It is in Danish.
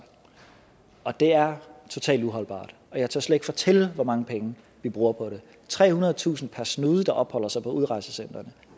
og det er totalt uholdbart jeg tør slet ikke fortælle hvor mange penge vi bruger på det trehundredetusind per snude der opholder sig på udrejsecentrene